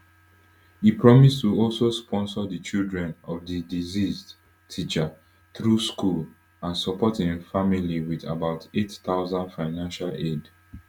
e promise to also sponsor di children of di deceased teacher through school and support im family wit about eight thousand financial aid